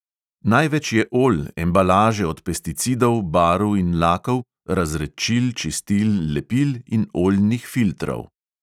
Največ je olj, embalaže od pesticidov, barv in lakov, razredčil, čistil, lepil in oljnih filtrov.